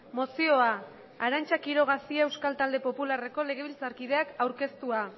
mozioa arantza quiroga cia euskal talde popularreko legebiltzarkideak aurkeztua